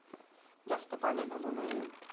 जास्त पाणी घालू नये.